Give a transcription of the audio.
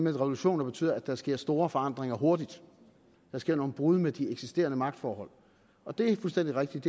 at revolutioner betyder at der sker store forandringer hurtigt der sker nogle brud med de eksisterende magtforhold og det er fuldstændig rigtigt